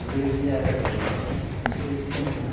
Sobrevivia, era eh subsistência né.